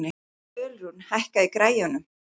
Ölrún, hækkaðu í græjunum.